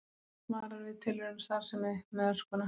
Varar við tilraunastarfsemi með öskuna